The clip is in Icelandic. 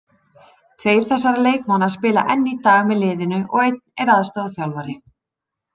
Tveir þessara leikmanna spila enn í dag með liðinu og einn er aðstoðarþjálfari.